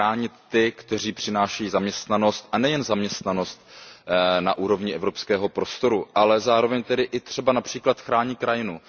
Chránit ty, kteří přinášejí zaměstnanost a nejen zaměstnanost na úrovni evropského prostoru, ale zároveň tedy i třeba například chrání krajinu.